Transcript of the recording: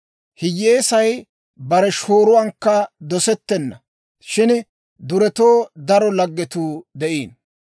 Hiyyeesay bare shooruwankka dosettenna; shin duretoo daro laggetuu de'iino.